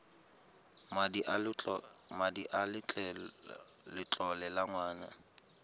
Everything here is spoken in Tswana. madi a letlole a ngwana